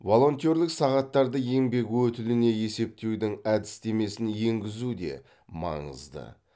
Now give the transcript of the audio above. волонтерлік сағаттарды еңбек өтіліне есептеудің әдістемесін енгізу де маңызды